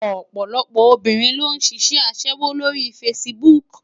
Òpòlòpò óbirin ló n ṣiṣè aṣèwó ló ri fásibúk